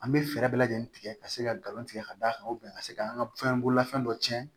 An bɛ fɛɛrɛ bɛɛ lajɛlen tigɛ ka se ka nkalon tigɛ ka da a kan ka se ka an ka fɛn bololafɛn dɔ tiɲɛ